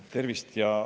Tervist!